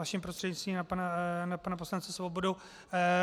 Vaším prostřednictvím na pana poslance Svobodu.